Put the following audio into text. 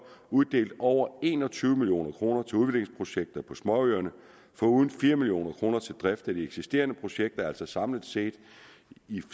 uddelt over en og tyve million kroner til udviklingsprojekter på småøerne foruden fire million kroner til drift af de eksisterende projekter altså samlet set